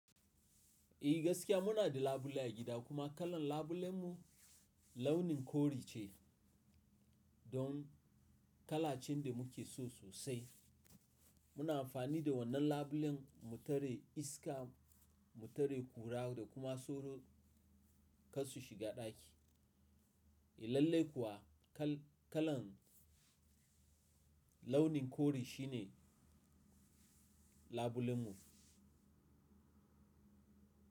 Eh gaskiya muna da labule a gida kuma kalan labulen mu launin kore ce. Don kala cin da muke so sosai. Muna amfani da wannan labulen mu tare iska, mu tare kura da kuma sauro kar su shiga ɗaki. Lallai kuwa kal kalan launin kore shine labulen mu.